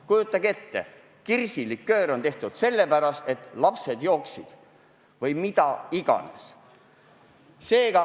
Kujutage ette, et kirsiliköör on tehtud sellepärast, et ka lapsed seda jooksid!